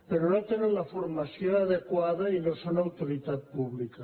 però no tenen la formació adequada i no són autoritat pública